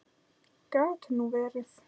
Gat nú verið